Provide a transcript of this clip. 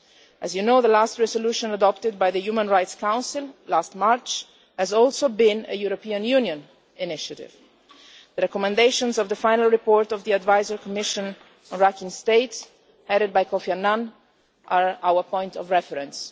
As you know, the last resolution adopted by the Human Rights Council, last March, was also a European Union initiative. The recommendations of the final report of the Advisory Commission on Rakhine State headed by Kofi Annan are our point of reference.